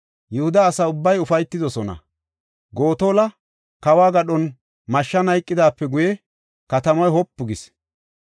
Yihuda asa ubbay ufaytidosona; Gotola kawo gadhon mashshan hayqidaape guye katamay wopu gis.